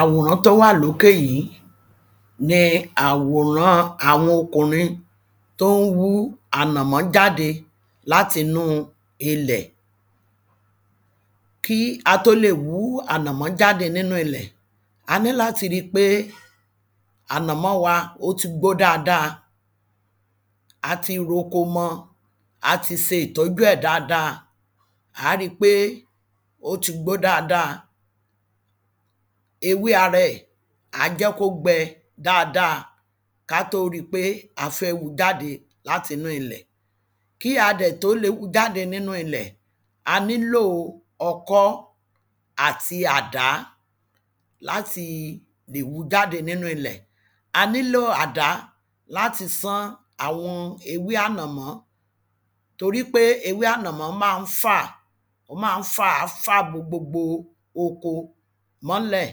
àwòrán tó wà lókè yìí ni àwòrán àwọn ọkùnrin tí ó ń wú ànàmọ́ jáde láti inú ilẹ̀ kí a tó lè wú ànàmọ́ jáde láti inú ilẹ̀ a ní láti ri pé ànàmọ́ wa ó ti gbó dáadáa ati ro ko mọ ati se ìtọ́jú ẹ̀ dáadáa a ri pé ó ti gbó dáadáa ewé ara ẹ̀ àá jẹ́ kó gbẹ dáadáa ká tó ri pé a fẹ́ wu jáde láti inú ilẹ̀ kí a dẹ̀ tó le wu jáde láti inú ilẹ̀ a nílò ọkọ́ àti àdá láti lè wu jáde láti inú ilẹ̀ a nílò àdá láti sán àwọn ewé ànàmọ́ torípé ewé ànàmọ́ máa ń fà máa ń fà á fà bo gbogbo oko mọ́lẹ̀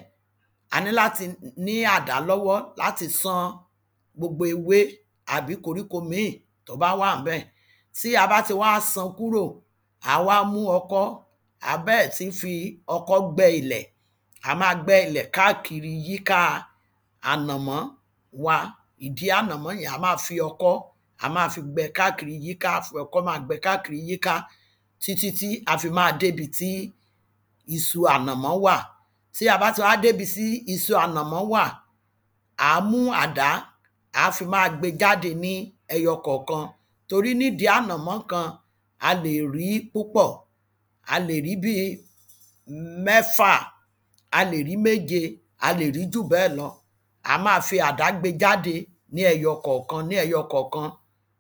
a ní láti ní àdá lọ́wọ́ láti san gbogbo ewé àbí koríko ìmíì tó bá wà ńbẹ̀ tí a bá ti wá san kúrò à wá mú ọkọ́ àá bẹ̀rẹ̀ sí fi ọkọ́ gbẹ́ ilẹ̀, à máa gbẹ́ ilẹ̀ káàkiri yíká ànàmọ́ wa ìdí ànàmọ́ yẹn à máa fi ọkọ́ àá máa fi gbẹ káàkiri yíká àá fi ọkọ́ máa gbẹ káàkiri yíká títítí a máa dé ibi tí isu ànàmọ́ wà tí a bá ti wá dé ibi tí isu ànàmọ́ wà àá mú àdá àá fi máa gbe jáde ní ẹyọ kọ̀ọ̀kan torí ní ìdí ànàmọ́ kan a lè rí púpọ̀ a lè rí bíi mẹ́fà a lè rí méje a lè rí jù bẹ́ẹ̀ lọ a máa fi àdá gbe jáde ní ẹyọ kọ̀ọ̀kan ní ẹyọ kọ̀ọ̀kan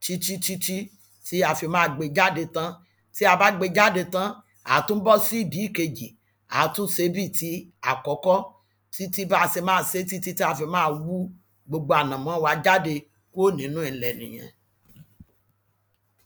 títítítí tí a fi máa gbe jáde tán tí a bá gbe jáde tán, àá tún bọ́ sí ìdí ìkejì àá tún se bíi ti àkọ́kọ́ títí ba se máa se títí ta fi máa mú gbogbo ànàmọ́ wa jáde nínú ilẹ̀ nìyẹn